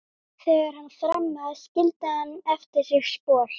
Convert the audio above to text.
Þegar hann þrammaði skildi hann eftir sig spor.